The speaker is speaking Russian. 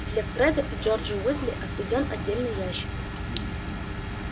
для фреда и джорджа уизли отведён отдельный ящик